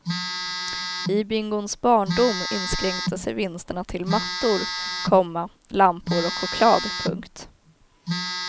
I bingons barndom inskränkte sig vinsterna till mattor, komma lampor och choklad. punkt